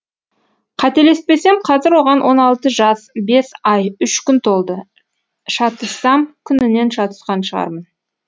қателеспесем қазір оған он алты жас бес ай үш күн толды шатыссам күнінен шатысқан шығармын